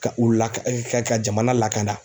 Ka u la ka ka jamana lakana.